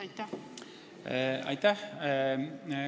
Aitäh!